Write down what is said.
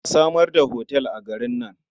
A samar da otal a garin nan.